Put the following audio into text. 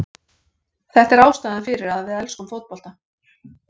Þetta er ástæðan fyrir að við elskum fótbolta.